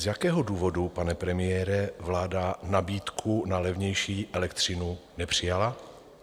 Z jakého důvodu, pane premiére, vláda nabídku na levnější elektřinu nepřijala?